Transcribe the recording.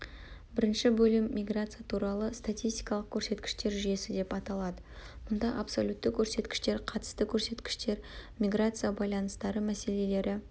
бірінші бөлім миграция туралы статистикалық көрсеткіштер жүйесі деп аталады мұнда абсолютті көрсеткіштер қатысты көрсеткіштер миграция баланстары мәселелері